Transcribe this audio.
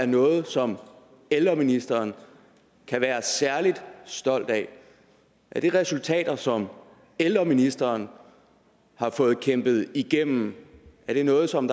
noget som ældreministeren kan være særlig stolt af er det resultater som ældreministeren har fået kæmpet igennem er det noget som